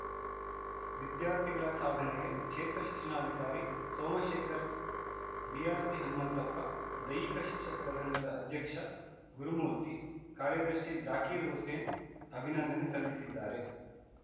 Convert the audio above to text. ವಿದ್ಯಾರ್ಥಿಗಳ ಸಾಧನೆಗೆ ಕ್ಷೇತ್ರ ಶಿಕ್ಷಣಾಧಿಕಾರಿ ಸೋಮಶೇಖರ್‌ ಬಿಆರ್‌ಸಿ ಹನುಮಂತಪ್ಪ ದೈಹಿಕ ಶಿಕ್ಷಕರ ಸಂಘದ ಅಧ್ಯಕ್ಷ ಗುರುಮೂರ್ತಿ ಕಾರ್ಯದರ್ಶಿ ಜಾಕೀರು ಹುಸೇನ್‌ ಅಭಿನಂದನೆ ಸಲ್ಲಿಸಿದ್ದಾರೆ